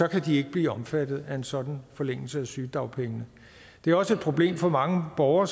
kan de ikke blive omfattet af en sådan forlængelse af sygedagpengene det er også et problem for mange borgere